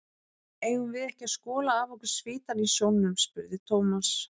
Eigum við ekki að skola af okkur svitann í sjónum? spurði Thomas.